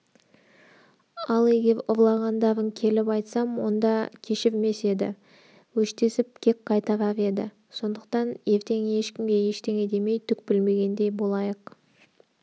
ал егер ұрлағандарын келіп айтсам онда кешірмес еді өштесіп кек қайтарар еді сондықтан ертең ешкімге ештеңе демей түк білмегендей болайық